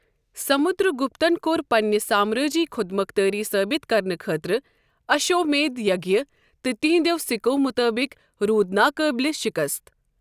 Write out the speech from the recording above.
سمُدر گُپتن كور پننہِ سامرٲجی خودمختٲری ثٲبت کرنہٕ خٲطرٕ اشو٘ میدھ یگیہ، تہٕ تہنٛدٮ۪و سِکو مُطٲبق روٗد ناقابلہِ شکست ۔